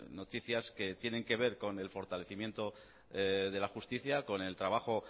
noticias que tienen que ver con el fortalecimiento de la justicia con el trabajo